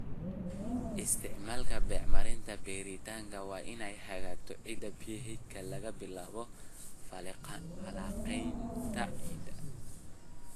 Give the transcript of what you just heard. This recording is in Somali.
Isticmaalka bacriminta beeritaanka waa in ay hagto ciidda PH (laga bilaabo falanqaynta ciidda)